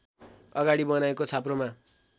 अगाडि बनाएको छाप्रोमा